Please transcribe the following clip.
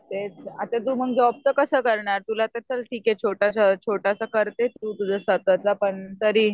तेच आता तू मग जॉब तर कसं करणार? तुला तर चल ठीक ये छोटं छोटंसं करते तू स्वतःचं पण तरीही.